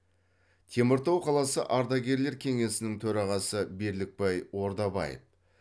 теміртау қаласы ардагерлер кеңесінің төрағасы берлікбай ордабаев